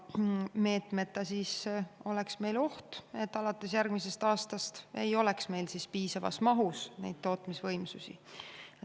Selle meetmeta oleks oht, et alates järgmisest aastast ei oleks meil piisavas mahus tootmisvõimsusi.